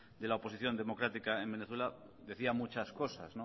de la oposición democrática en venezuela decía muchas cosas